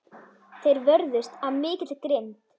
Þeir vörðust af mikilli grimmd.